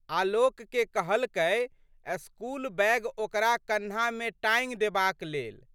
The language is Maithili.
आलोकके कहलकै स्कूल बैग ओकरा कन्हामे टाँगि देबाक लेल।